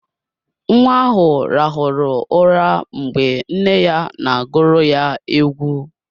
Nwa ahụ rahụrụ ụra mgbe nne ya na agụrụ ya egwu.